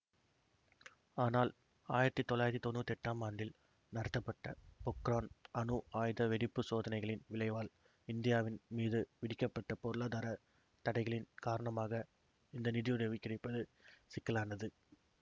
ஆனால் ஆயிரத்தி தொள்ளாயிரத்தி தொன்னூத்தி எட்டாம் ஆண்டில் நடத்தப்பட்ட போக்ரான் அணு ஆயுத வெடிப்புச் சோதனைகளின் விளைவால் இந்தியாவின் மீது விதிக்கப்பட்ட பொருளாதார தடைகளின் காரணமாக இந்த நிதியுதவி கிடைப்பது சிக்கலானது